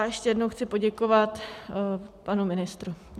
A ještě jednou chci poděkovat panu ministru.